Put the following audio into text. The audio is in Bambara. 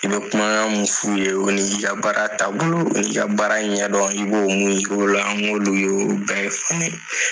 I bɛ kumakan minnu f'u ye o ni ka baara taabolo ni ka baara ɲɛdɔn i b'o minn yir'u la n k'olu y'o bɛɛ fɔ ne ye .